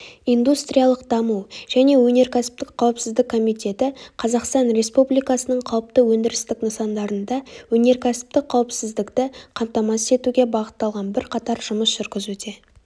индустриялық даму және өнеркәсіптік қауіпсіздік комитеті қазақстан республикасының қауіпті өндірістік нысандарында өнеркәсіптік қауіпсіздікті қамтамасыз етуге бағытталған бірқатар жұмыс жүргізуде